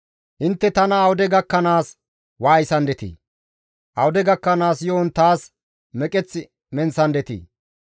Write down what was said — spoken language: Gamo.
«Intte tana awude gakkanaas waayisandetii? Awude gakkanaas yo7on taas meqeth menththandetii?